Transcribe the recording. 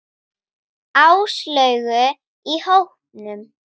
Áslaugu í hópnum.